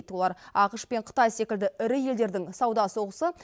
олар ақш пен қытай секілді ірі елдердің сауда соғысы